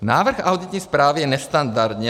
Návrh auditní zprávy je nestandardní.